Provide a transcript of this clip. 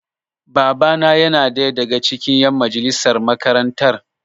Baba na yana ɗaya daga cikin ƴan majalisar makarantar.